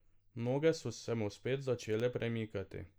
Noge so se mu spet začele premikati.